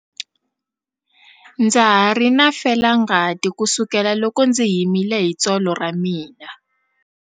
Ndza ha ri na felangati kusukela loko ndzi himile hi tsolo ra mina.